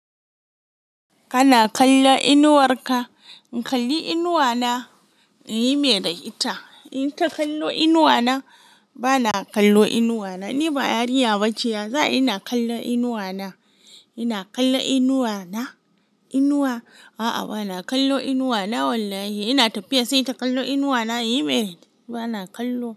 Kana kallo inuwar ka? In kalli inuwa na, yi me da ita. Inyi ta kallo inuwa na, bana kallo inuwa na. Ni ba yariya ba ce ya, za'ayi na kallon inuwa na. Ina kallo inuwa na? Inuwa? A'a bana kallo inuwa na wallahi. Ina tafiya sai ta kallo inuwa na, yi mai da ita. Bana kallo.